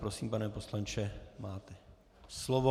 Prosím, pane poslanče, máte slovo.